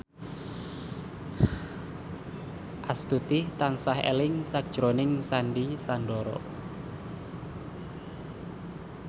Astuti tansah eling sakjroning Sandy Sandoro